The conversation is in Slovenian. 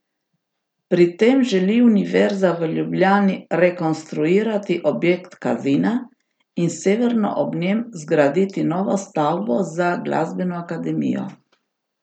Pri tem želi Univerza v Ljubljani rekonstruirati objekt Kazina in severno ob njem zgraditi novo stavbo za glasbeno akademijo.